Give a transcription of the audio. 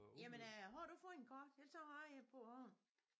Jamen øh har du fået en kort ellers så har jeg en på æ hånd